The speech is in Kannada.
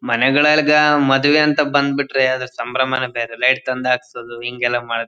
ಮನೆಗಳಿಗೆ ಮದುವೆ ಅಂತ ಬಂದುಬಿಟ್ರೆ ಅದರ ಸಂಭ್ರಮ ನೇ ಬೇರೆ ಲೈಟ್ಸ್ ಎಲ್ಲ ತಂದು ಹಾಕೋದು ಹಿಂಗೆಲ್ಲ ಮಾಡೋದು.